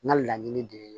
N ka laɲini de ye